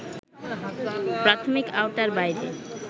প্রাথমিক আওতার বাইরে